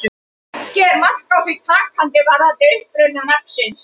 Ekki er mark á því takandi varðandi uppruna nafnsins.